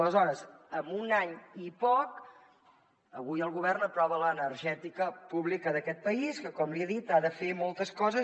aleshores en un any i poc avui el govern aprova l’energètica pública d’aquest país que com li he dit ha de fer moltes coses